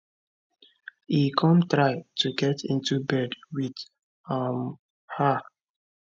e come try to get into bed with um her